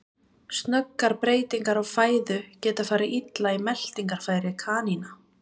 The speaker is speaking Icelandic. Snöggar breytingar á fæðu geta farið illa í meltingarfæri kanína.